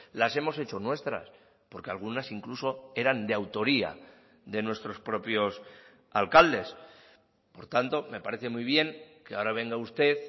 las hemos hecho nuestras porque algunas incluso eran de autoría de nuestros propios alcaldes por tanto me parece muy bien que ahora venga usted